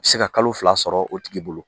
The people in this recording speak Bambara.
se ka kalo fila sɔrɔ o tigi bolo.